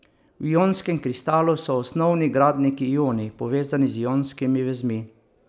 V ionskem kristalu so osnovni gradniki ioni povezani z ionskimi vezmi.